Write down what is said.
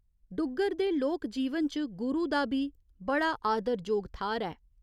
डुग्गर दे लोक जीवन च गुरु दा बी बड़ा आदरजोग थाह्‌र ऐ।